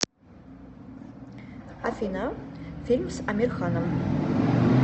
афина фильм с амир ханом